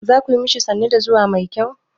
Za ku yi ma shi sannu da zuwa mai kyau?